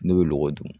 Ne bɛ lɔgɔ dun